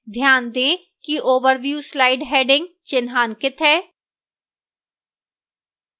ध्यान दें कि overview slide heading चिन्हांकित है